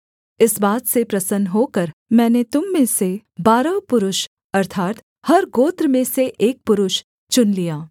इस बात से प्रसन्न होकर मैंने तुम में से बारह पुरुष अर्थात् हर गोत्र में से एक पुरुष चुन लिया